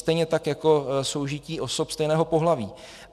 Stejně tak jako soužití osob stejného pohlaví.